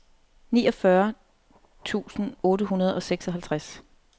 niogfyrre tusind otte hundrede og seksoghalvtreds